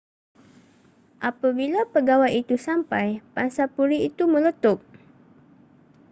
apabila pegawai itu sampai pangsapuri itu meletup